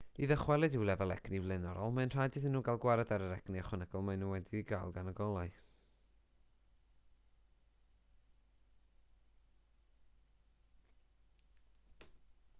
i ddychwelyd i'w lefel egni blaenorol mae'n rhaid iddyn nhw gael gwared ar yr egni ychwanegol maen nhw wedi'i gael gan y golau